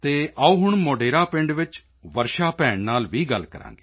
ਆਓ ਹੁਣ ਮੋਢੇਰਾ ਪਿੰਡ ਵਿੱਚ ਵਰਸ਼ਾ ਭੈਣ ਨਾਲ ਵੀ ਗੱਲ ਕਰਾਂਗੇ